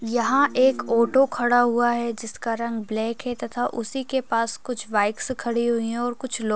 यहाँ एक ओटो खड़ा हुवा है जिसका रंग ब्लेक है तथा उसी के पास कुछ बाईकस खड़ी हुई हैं ओर कुछ लोग --